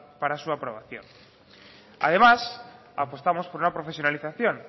para su aprobación además apostamos por una profesionalización